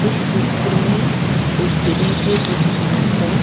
इस चित्र में उस स्त्री के दुकान का।